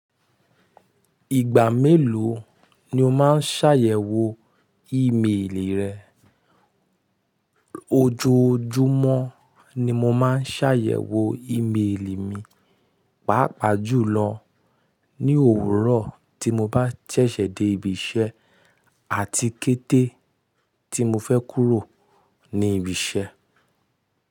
Ìgbà mélòó ni o máa ń ṣàyẹ̀wò ímeèlì rẹ? Ojoojúmọ́ ni mo máa ń ṣàyẹ̀wò ímeèlì mi, pàápàá jùlọ ní òwúrọ̀ tí mo bá ṣẹ̀ṣẹ̀ dé ibi iṣẹ́ àti kété tí mo fẹ́ kúrò ní ibi iṣẹ́.